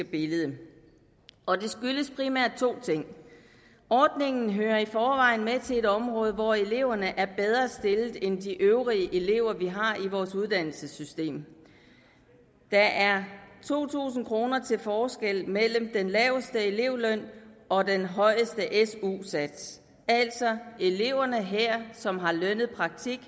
billede og det skyldes primært to ting ordningen hører i forvejen med til et område hvor eleverne er bedre stillet end de øvrige elever vi har i vores uddannelsessystem der er to tusind kroner til forskel mellem den laveste elevløn og den højeste su sats altså at eleverne her som har lønnet praktik